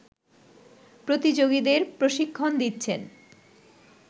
প্রতিযোগীদের প্রশিক্ষণ দিচ্ছেন